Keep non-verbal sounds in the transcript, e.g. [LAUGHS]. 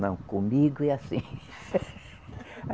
Não, comigo é assim. [LAUGHS]